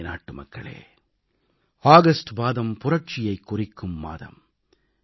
எனதருமை நாட்டுமக்களே ஆகஸ்ட் மாதம் புரட்சியைக் குறிக்கும் மாதம்